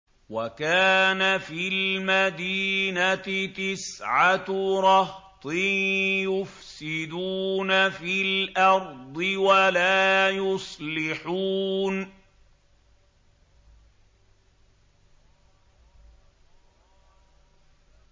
وَكَانَ فِي الْمَدِينَةِ تِسْعَةُ رَهْطٍ يُفْسِدُونَ فِي الْأَرْضِ وَلَا يُصْلِحُونَ